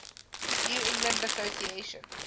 new england association